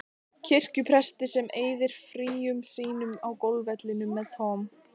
kirkjupresti sem eyðir fríum sínum á golfvellinum með Tom